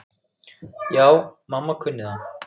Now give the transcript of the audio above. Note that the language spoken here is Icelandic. Já, mamma kunni það.